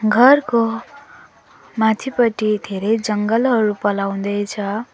घरको माथिपट्टि धेरै जङ्गल हरू पलाउँदै छ।